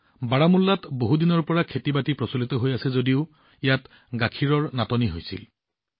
বাৰামুল্লাত বহুদিনৰ পৰা খেতি চলি আহিছে যদিও ইয়াত গাখীৰৰ নাটনি হৈছিল